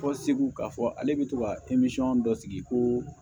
Fɔ segu k'a fɔ ale bɛ to ka dɔ sigi ko